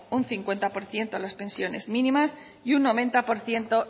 un cincuenta por ciento pensiones mínimas y un noventa por ciento